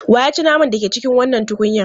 Wa ya ci naman da ke cikin wannan tukunyan?